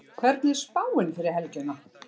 hvernig er spáin fyrir helgina